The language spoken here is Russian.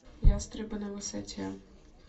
ястребы на высоте